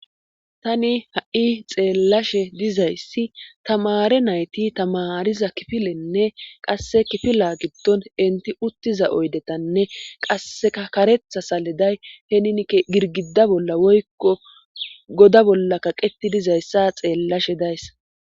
tani ha7i xeellashe dizayssi tamare nayti tamariza kifilenne qasse kifila giddon inti uttiza oydetanne qasseka karetha saliday henin girgida bolla woykko goda bolla kaqeti dizayssa xeellashe dayssa